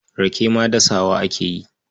Rake ma dasawa ake yi.